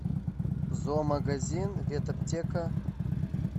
зоомагазин ветаптека